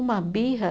Uma birra.